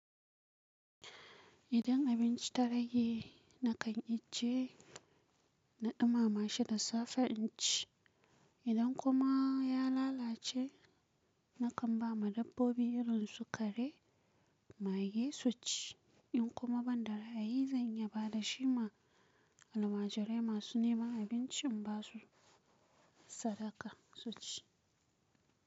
Idan abinci ta rage, na kan ije na dumama shi da safe inci. Idan kuma ya lalace, na kan ba ma dabbobi irin su kare, mage su ci. In kuma ban da ra'ayi zan yaba da shi ma almajirai masu nema abincin masu sadaka su ci.